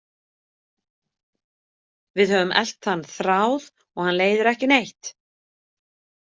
Við höfum elt þann þráð og hann leiðir ekki neitt.